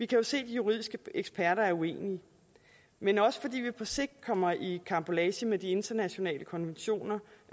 kan se at de juridiske eksperter er uenige men også fordi vi på sigt kommer i karambolage med de internationale konventioner